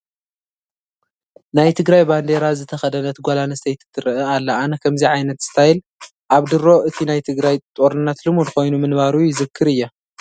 ናይ ትግራይ ባንዴራ ዝተኸደነት ጓል ኣነስተይቲ ትርአ ኣላ፡፡ ኣነ ከምዚ ዓይነት ስታይል ኣብ ድሮ እቲ ናይ ትግራይ ጦርነት ልሙድ ኮይኑ ምንባሩ ይዝክር እየ፡፡